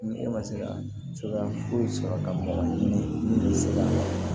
Ni e ma se ka cogoya foyi sɔrɔ ka bɔ ni